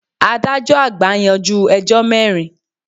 Adájọ́ àgbà yanjú ẹjọ́ mẹ́rin.